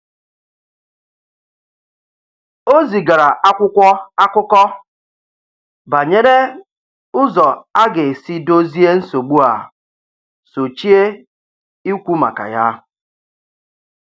O zigara akwụkwọ akụkọ banyere ụzọ a ga-esi dozie nsogbu a sochie ikwu maka ya.